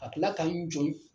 Ka kila k'an jɔ n